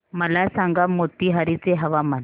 मला सांगा मोतीहारी चे हवामान